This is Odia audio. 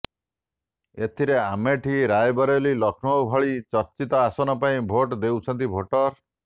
ଏଥିରେ ଆମେଠି ରାଏବରେଲି ଲକ୍ଷ୍ନୌ ଭଳି ଚର୍ଚ୍ଚିତ ଆସନ ପାଇଁ ଭୋଟ୍ ଦେଉଛନ୍ତି ଭୋଟର